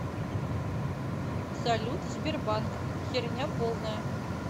салют сбербанк херня полная